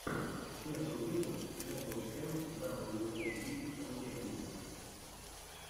первый выпуск ворлд оф тэнкс даблюоути сантехника